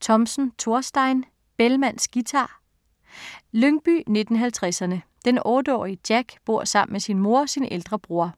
Thomsen, Thorstein: Bellmans guitar Lyngby 1950'erne. Den 8-årige Jack bor sammen med sin mor og sin ældre bror.